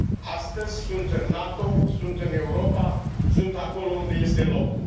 Astăzi sunt în NATO, sunt în Europa, sunt acolo unde le este locul.